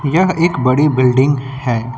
यह एक बड़ी बिल्डिंग है।